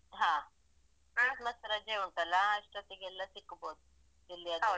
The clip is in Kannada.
ಹಾ ಕ್ರಿಸ್ಮಸ್ ರಜೆ ಉಂಟಲ್ಲ ಅಷ್ಟೊತ್ತಿಗೆಲ್ಲ ಸಿಕ್ಬೋದು ಎಲ್ಲಿಯಾದ್ರು.